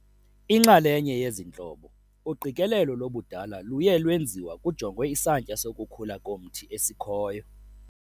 Inxalenye yezi ntlobo, uqikelelo lobudala luye lwenziwa kujongwe isantya sokukhula komthi esikhoyo.